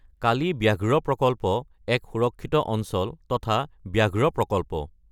কালি ব্যাঘ্ৰ প্ৰকল্প এক সুৰক্ষিত অঞ্চল তথা ব্যাঘ্ৰ প্ৰকল্প।